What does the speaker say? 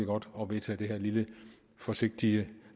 godt at vedtage det her lille og forsigtige og